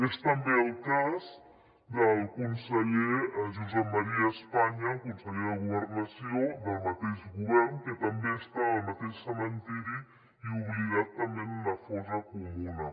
és també el cas del conseller josep maria espanya el conseller de governació del mateix govern que també està en el mateix cementiri i oblidat també en una fossa comuna